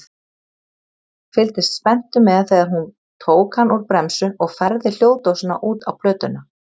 Fylgdist spenntur með þegar hún tók hann úr bremsu og færði hljóðdósina út á plötuna.